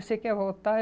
Você quer voltar?